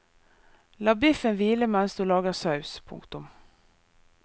La biffen hvile mens du lager saus. punktum